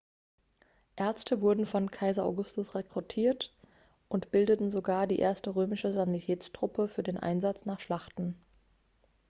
ärzte wurden von kaiser augustus rekrutiert und bildeten sogar die erste römische sanitätstruppe für den einsatz nach schlachten